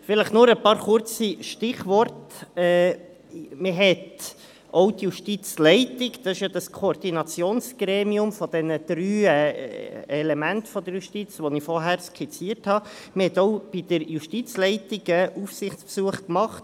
Vielleicht noch ein paar kurze Stichworte: Man hat auch bei der Justizleitung, dem Koordinationsgremium, bestehend aus den drei Elementen der Justiz, die ich vorhin skizziert habe, Aufsichtsbesuche gemacht.